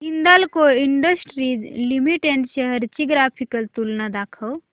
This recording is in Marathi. हिंदाल्को इंडस्ट्रीज लिमिटेड शेअर्स ची ग्राफिकल तुलना दाखव